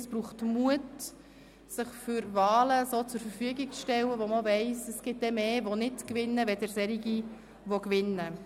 Es braucht Mut, sich für Wahlen zur Verfügung zu stellen, wo man weiss, dass es mehr gibt, die nicht gewinnen als solche, die gewinnen.